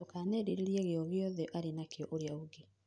Ndũkanerirĩrie giogiothe arĩnakio ũrĩa ũngĩ.